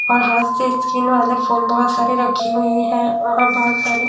और हाथ से स्कीन वाले फोन बहोत सारी रखी हुई हैं और बहोत सारी--